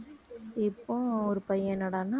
இப்போவும் ஒரு பையன் என்னடான்னா